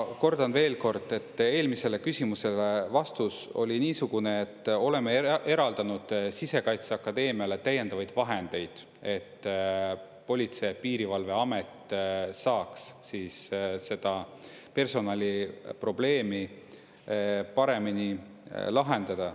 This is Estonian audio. Ma kordan veel kord: eelmisele küsimusele vastus oli niisugune, et oleme eraldanud Sisekaitseakadeemiale täiendavaid vahendeid, et Politsei- ja Piirivalveamet saaks siis seda personaliprobleemi paremini lahendada.